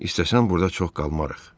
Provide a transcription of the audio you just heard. İstəsən burda çox qalmarıq.